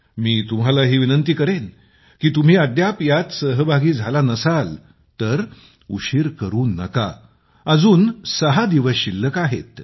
मी तुम्हालाही विनंती करेन की तुम्ही अद्याप यात सहभागी झाला नसाल तर उशीर करू नका अजून सहा दिवस शिल्लक आहेत